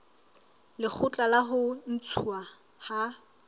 lekgotla la ho ntshuwa ha